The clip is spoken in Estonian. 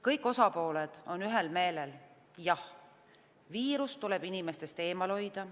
Kõik osapooled on ühel meelel: jah, viirus tuleb inimestest eemal hoida.